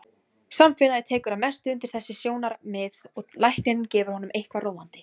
Samfélagið tekur að mestu undir þessi sjónarmið og læknirinn gefur honum eitthvað róandi.